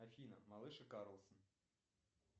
афина малыш и карлсон